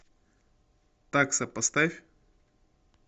такса поставь